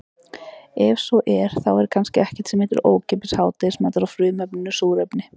Ef svo er þá er kannski ekkert sem heitir ókeypis hádegismatur á frumefninu súrefni.